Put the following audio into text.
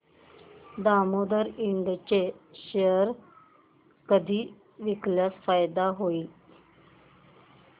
दामोदर इंड चे शेअर कधी विकल्यास फायदा होईल